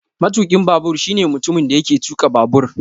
Matukin babur shine mutumin da yake tuka babur